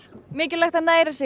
mikilvægt að næra sig